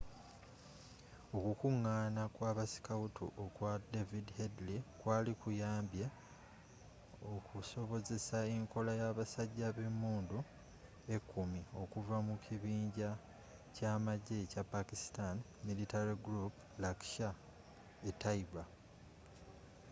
okukunggana kw'abasikawutu okwa david headley kwali kuyambye okusobozesa enkola yabasajja bemunddu ekumi okuva mu kibinja kyamagye ekya pakistani militant group laskhar-e-taiba